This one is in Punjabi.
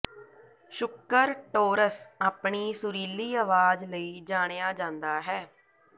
ਸ਼ੁੱਕਰ ਟੌਰਸ ਆਪਣੀ ਸੁਰੀਲੀ ਅਵਾਜ਼ ਲਈ ਜਾਣਿਆ ਜਾਂਦਾ ਹੈ